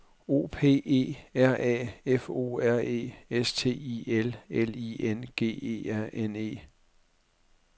O P E R A F O R E S T I L L I N G E R N E